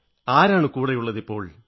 ആരാണ് കൂടെയുള്ളതിപ്പോൾ